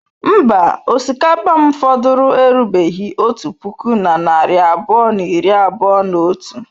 Mba, osikapa m fọdụrụ erubeghị otu puku na narị abụọ na iri abụọ na otu.